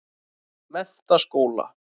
Menntaskóla